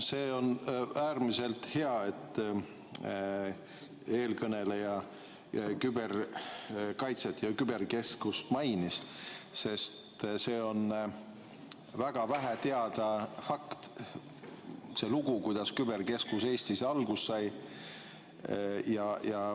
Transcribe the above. See on äärmiselt hea, et eelkõneleja mainis küberkaitset ja küber keskust, sest väga vähe teada fakt on see lugu, kuidas see keskus Eestis alguse sai.